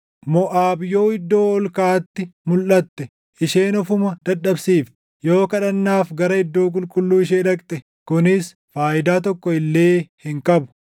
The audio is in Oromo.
Moʼaab yoo iddoo ol kaʼaatti mulʼatte, isheen ofuma dadhabsiifti; yoo kadhannaaf gara iddoo qulqulluu ishee dhaqxe kunis faayidaa tokko illee hin qabu.